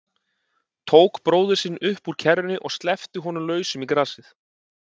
Tók bróður sinn upp úr kerrunni og sleppti honum lausum í grasið.